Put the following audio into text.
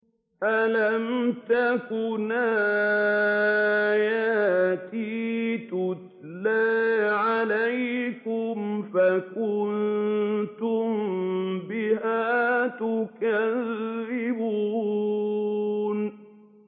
أَلَمْ تَكُنْ آيَاتِي تُتْلَىٰ عَلَيْكُمْ فَكُنتُم بِهَا تُكَذِّبُونَ